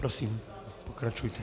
Prosím, pokračujte.